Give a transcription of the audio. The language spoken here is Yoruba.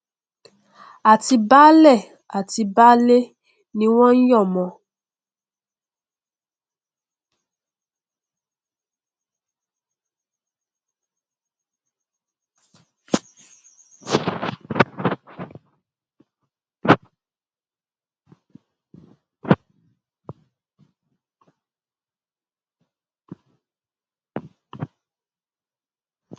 àti baálé àti baálẹ ni wọn nyọmọ ọn